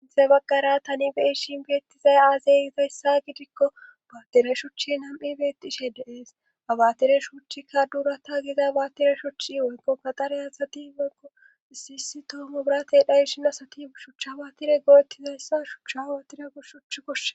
izay bagqara tani beishin beettizay aazeyizayssa gidikko baattire shuchi nam7i beettishe deees abaatire shuchika duurata giza baatire shuchchi woykko kaxare asati mako issi hissi toomo biratey dhayshin asati shuchcha baatire gooettizayssa shucha awotire u shuch koshshe